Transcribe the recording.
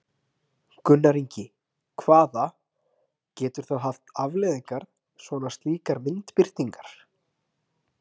Gunnar Ingi, hvaða, getur það haft afleiðingar svona slíkar myndbirtingar?